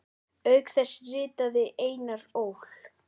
Auk þess ritaði Einar Ól.